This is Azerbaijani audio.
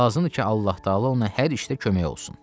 lazımdır ki, Allah təala ona hər işdə kömək olsun.